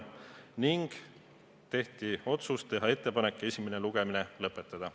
Ka langetati otsus teha ettepanek esimene lugemine lõpetada.